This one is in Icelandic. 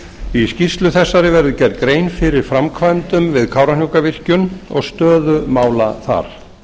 í skýrslu þessari verður gerð grein fyrir framkvæmdum við kárahnjúkavirkjun og stöðu mála þar